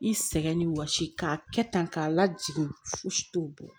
I sɛgɛn ni wɔsi k'a kɛ tan k'a lajigin fosi t'o bɔ